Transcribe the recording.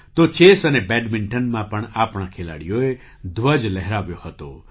તો ચેસ અને બૅડમિન્ટનમાં પણ આપણા ખેલાડીઓએ ધ્વજ લહેરાવ્યો હતો